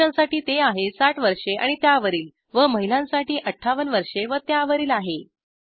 पुरुषांसाठी ते आहे ६० वर्षे आणि त्यावरील व महिलांसाठी ५८ वर्षे व त्यावरील आहे